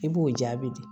I b'o jaabi di